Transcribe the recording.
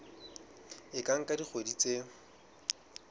e ka nka dikgwedi tse